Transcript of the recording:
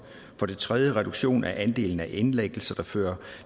for det tredje reduktion af andelen af indlæggelser der fører